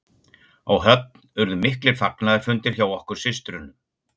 Á Höfn urðu miklir fagnaðarfundir hjá okkur systrunum.